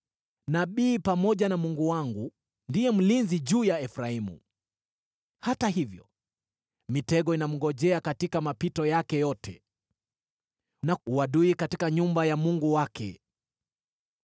Nabii, pamoja na Mungu wangu, ndiye mlinzi juu ya Efraimu, hata hivyo mitego inamngojea katika mapito yake yote, na uadui katika nyumba ya Mungu wake.